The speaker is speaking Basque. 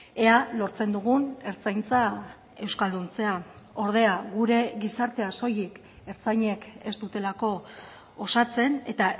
ea lortzen dugun ertzaintza euskalduntzea ordea gure gizartea soilik ertzainek ez dutelako osatzen eta